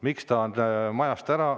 Miks ta on majast ära?